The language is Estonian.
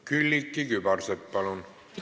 Külliki Kübarsepp, palun!